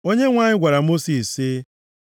Onyenwe anyị gwara Mosis sị,